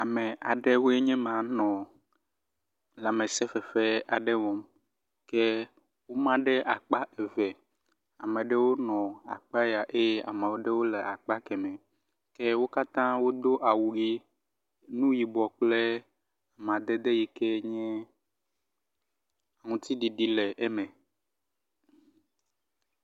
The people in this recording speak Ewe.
ame aɖewoe nye ma nɔ lãmesē fefe aɖe wɔm ye wó ma ɖe akpa eve amaɖewo le akpaya eye amaɖewo le akpa kemɛ ye wó katã wó dó awu yi, nuyibɔ kple amadede yike nye ŋutiɖiɖi le eme